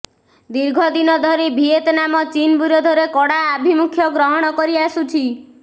ଦୀର୍ଘ ଦିନ ଧରି ଭିଏତନାମ ଚୀନ୍ ବିରୋଧରେ କଡ଼ା ଆଭିମୁଖ୍ୟ ଗ୍ରହଣ କରିଆସୁଛି